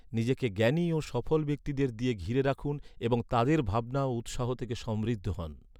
নিজেকে জ্ঞানী ও সফল ব্যক্তিদের দিয়ে ঘিরে রাখুন এবং তাদের ভাবনা ও উৎসাহ থেকে সমৃদ্ধ হন।